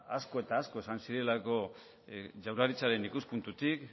asko eta asko esan zirelako jaurlaritzaren ikuspuntutik